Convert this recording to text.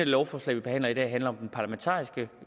lovforslag vi behandler i dag handler om den parlamentariske